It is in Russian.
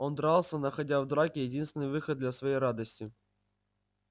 он дрался находя в драке единственный выход для своей радости